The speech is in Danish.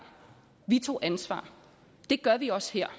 vi tog ansvar og det gør vi også her